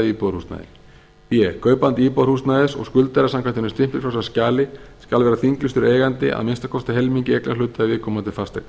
íbúðarhúsnæði b kaupandi íbúðarhúsnæðis og skuldari samkvæmt hinu stimpilfrjálsa skjali skal vera þinglýstur eigandi að að minnsta kosti helmingi eignarhluta í viðkomandi fasteign